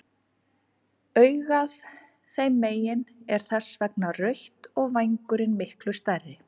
Augað þeim megin er þess vegna rautt og vængurinn miklu stærri.